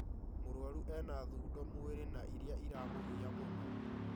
Mũrwaru ena thundo mwĩrĩ na irĩa iramũgia mũno